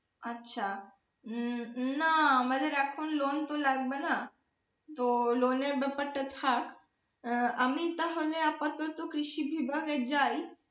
আচ্ছা উম না আমাদের এখন loan তো লাগবে না তো loan এর ব্যাপার টা থাক আমি তাহলে আপাতত কৃষি বিভাগে যাই।